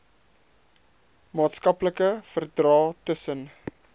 maatskaplike verdrae tussen